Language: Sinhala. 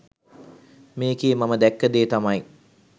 මේකේ මම දැක්ක දේ තමයි